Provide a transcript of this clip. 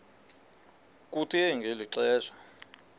kuthe ngeli xesha